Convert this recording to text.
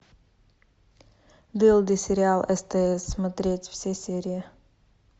дылды сериал стс смотреть все серии